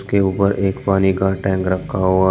के ऊपर एक पानी का टैंक रखा हुआ--